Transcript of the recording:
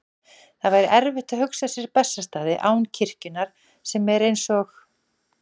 Það væri erfitt að hugsa sér Bessastaði án kirkjunnar sem er, eins og